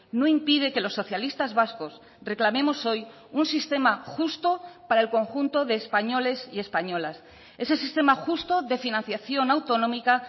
no impide que los socialistas vascos reclamemos hoy un sistema justo para el conjunto de españoles y españolas ese sistema justo de financiación autonómica